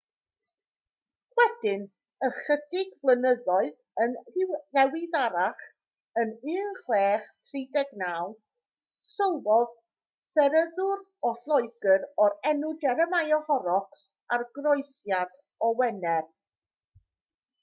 wedyn ychydig flynyddoedd yn ddiweddarach yn 1639 sylwodd seryddwr o loegr o'r enw jeremiah horrocks ar groesiad o wener